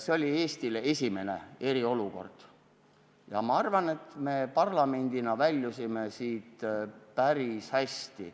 See oli Eestile esimene eriolukord ja ma arvan, et me parlamendina väljusime sellest päris hästi.